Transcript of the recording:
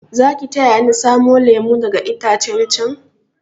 Zaki taya ni samo lemu daga itacen chan?